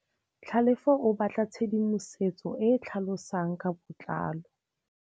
Tlhalefô o batla tshedimosetsô e e tlhalosang ka botlalô.